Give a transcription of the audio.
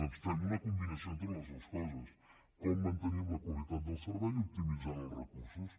doncs fem una combinació entre totes dues coses com mantenim la qualitat del servei optimitzant els recursos